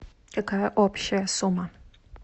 какая общая сумма